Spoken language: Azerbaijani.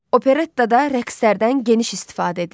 Operettada rəqslərdən geniş istifadə edilir.